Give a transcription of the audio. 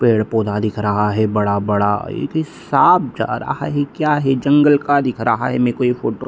पेड़-पोधा दिख रहा है बड़ा-बड़ा एक साँप जा रहा है क्या है जंगल का दिख रहा है मेरे को ये फोटो ।